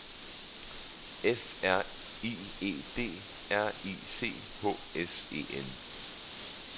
F R I E D R I C H S E N